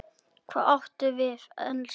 Hvað áttu við, elskan?